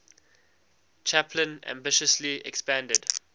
chaplin ambitiously expanded